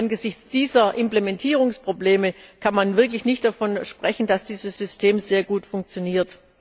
Angesichts dieser Implementierungsprobleme kann man wirklich nicht davon sprechen, dass dieses System sehr gut funktioniert.